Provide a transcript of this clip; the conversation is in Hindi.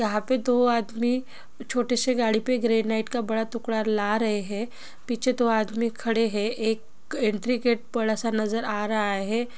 यहाँ पे दो आदमी छोटे से गाड़ी पे ग्रैनाइट का बड़ा टुकडा ला रहे हे पीछे दो आदमी खड़े हे एक एंट्री गेट बड़ा सा नज़र आ रहा हे ।